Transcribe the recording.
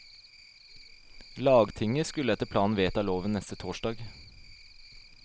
Lagtinget skulle etter planen vedta loven neste torsdag.